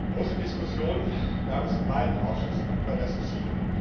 Große Diskussionen gab es in beiden Ausschüssen über das Ziel.